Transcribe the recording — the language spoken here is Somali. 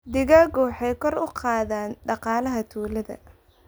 Digaagga waxay kor u qaadaan dhaqaalaha tuulada.